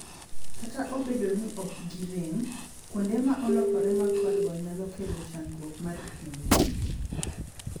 Kta obedo no ok gi rem, kuonde ma olokore ma kwar go nyalo kelo chandruok mar pien del.